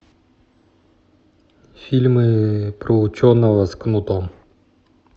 фильмы про ученого с кнутом